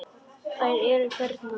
Þær eru hérna, pabbi.